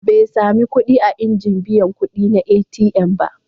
Bai sami kuɗi a injin biyan kuɗi na ATM ba.